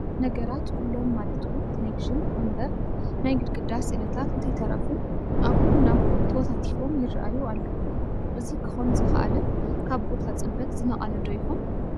ነገራት ኩሎም ማለት እውን ቴለብዥን፣ ወንበር፣ ናይ ግድግዳ ስእልታት እንተይተረፉ ኣብኡ ናብኡ ተወታቲፎም ይርአዩ ኣለዉ፡፡ እዚ ክኾን ዝኸኣለ ካብ ቦታ ፅበት ዝነቐለ ዶ ይኾን?